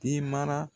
Den mara